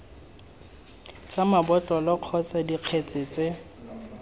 tsa mabotlolo kgotsa dikgetse tse